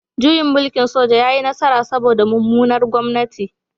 Juyin mulkin soja ya yi nasara saboda mummunar gwamnati